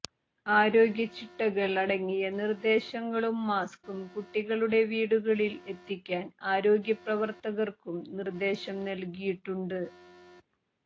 ആരോഗ്യചിട്ടകൾ അടങ്ങിയ നിർദേശങ്ങളും മാസ്കും കുട്ടികളുടെ വീടുകളിൽ എത്തിക്കാൻ ആരോഗ്യ പ്രവർത്തകർക്കും നിര്ദേശം നല്കിയിട്ടുണ്ട്